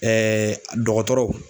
dɔgɔtɔrɔw.